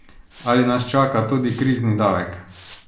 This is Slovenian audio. Ali nas čaka tudi krizni davek?